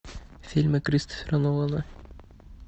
фильмы кристофера нолана